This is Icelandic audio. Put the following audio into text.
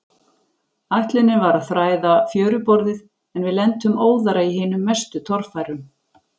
Ætlunin var að þræða fjöruborðið, en við lentum óðara í hinum mestu torfærum.